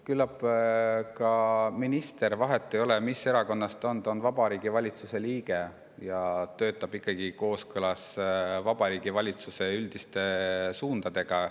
Küllap minister – vahet ei ole, mis erakonnast ta on, ta on Vabariigi Valitsuse liige – töötab kooskõlas Vabariigi Valitsuse üldiste suundadega.